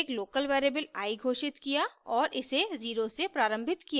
हमने एक local variable i घोषित किया और इसे 0 से प्रारम्भित किया